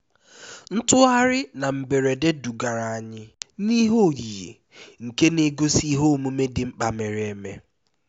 ntugharị na mberede dugara anyị n'ihe oyiyi nke na-egosi ihe omume dị mkpa mere eme